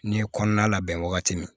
N'i ye kɔnɔna labɛn wagati min